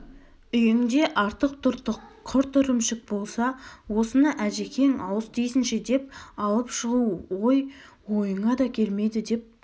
үйіңде артық-тұртық құрт-ірімшік болса осыны әжекең ауыз тисінші деп алып шығу ғой ойыңа да келмейді деп